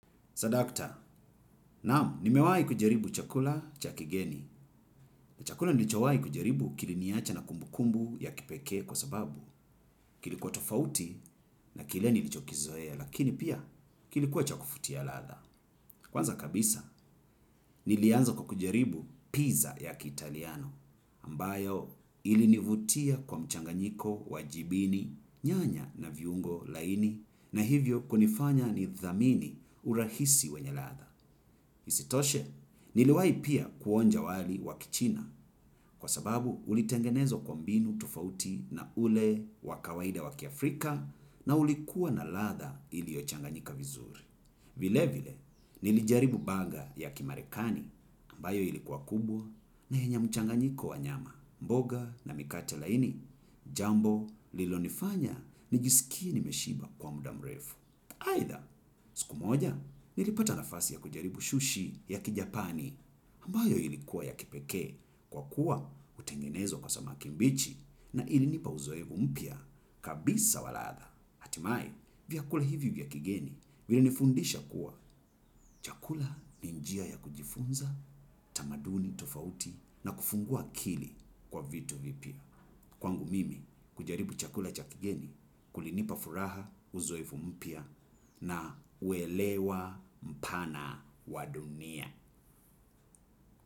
Swadakta, naamu, nimewai kujaribu chakula cha kigeni. Chakula nilichowai kujaribu kiliniacha na kumbu kumbu ya kipekee kwa sababu kilikuwa tofauti na kile nilichokizoea, lakini pia kilikuwa cha kufutia latha. Kwanza kabisa, nilianza kwa kujaribu pizza ya kiitaliano, ambayo ilinivutia kwa mchanganyiko wajibini, nyanya na viungo laini, na hivyo kunifanya ni dhamini urahisi wenye latha. Isitoshe niliwai pia kuonja wali wa kichina kwa sababu ulitengenezwa kwa mbinu tufauti na ule wa kawaida wakiafrika na ulikua na latha iliochanganyika vizuri. Vile vile nilijaribu burger ya kimarekani ambayo ilikuwa kubwa na yenye mchanganyiko wa nyama mboga na mikate laini jambo lilonifanya nijisikie nimeshiba kwa mudamrefu. Haitha, siku moja, nilipata nafasi ya kujaribu shushi ya kijapani ambayo ilikuwa ya kipekee kwa kuwa utengenezwa kwa samaki mbichi na ilinipa uzoevu mpya kabisa wa latha. Hatimae, vyakula hivi vya kigeni, vilinifundisha kuwa chakula ni njia ya kujifunza, tamaduni, tofauti na kufungua kili kwa vitu vipya. Kwangu mimi kujaribu chakula cha kigeni kulinipa furaha uzoefu mpya na uelewa mpana wa dunia.